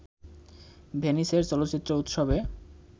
ভেনিসের চলচ্চিত্র উৎসবে